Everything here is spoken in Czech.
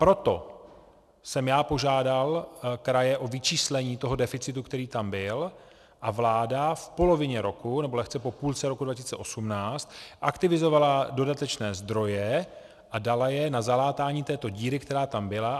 Proto jsem já požádal kraje o vyčíslení toho deficitu, který tam byl, a vláda v polovině roku, nebo lehce po půlce roku 2018 aktivizovala dodatečné zdroje a dala je na zalátání této díry, která tam byla.